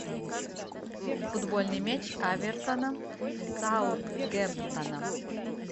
футбольный матч эвертона с саутгемптоном